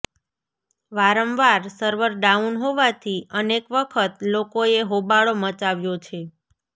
વારંવાર server down હોવાથી અનેક વખત લોકોએ હોબાળો મચાવ્યો છે